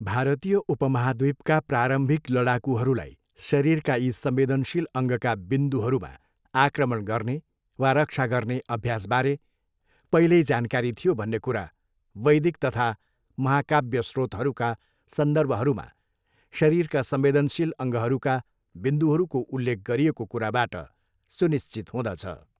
भारतीय उपमहाद्वीपका प्रारम्भिक लडाकुहरूलाई शरीरका यी संंवेदनशील अङ्गका बिन्दुहरूहरूमा आक्रमण गर्ने वा रक्षा गर्ने अभ्यासबारे पहिल्यै जानकारी थियो भन्ने कुरा वैदिक तथा महाकाव्य स्रोतहरूका सन्दर्भहरूमा शरीरका संवेदनशील अङ्गहरूका बिन्दुहरूको उल्लेख गरिएको कुराबाट सुनिश्चित हुँदछ।